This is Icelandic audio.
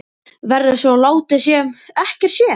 Verður svo látið sem ekkert sé?